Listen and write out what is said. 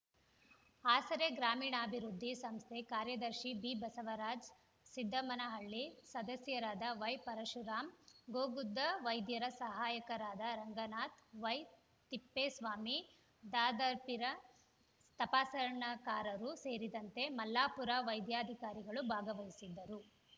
ಆಸರೆ ಗ್ರಾಮೀಣಾಭಿವೃದ್ಧಿ ಸಂಸ್ಥೆ ಕಾರ್ಯದರ್ಶಿ ಬಿಬಸವರಾಜ ಸಿದ್ಧಮ್ಮನಹಳ್ಳಿ ಸದಸ್ಯರಾದ ವೈಪರಶುರಾಮ್‌ ಗೋಗುದ್ದು ವೈದ್ಯರ ಸಹಾಯಕರಾದ ರಂಗನಾಥ ವೈತಿಪ್ಪೇಸ್ವಾಮಿ ದಾದಾಪೀರ್‌ ತಪಾಸಣೆಕಾರರು ಸೇರಿದಂತೆ ಮಲ್ಲಾಪುರ ವೈದ್ಯಾಧಿಕಾರಿಗಳು ಭಾಗವಹಿಸಿದ್ದರು